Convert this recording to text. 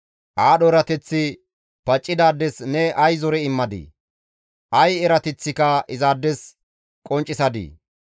Aadho erateththi paccidaades ne ay zore immadii! Ay erateththika izaades qonccisadi!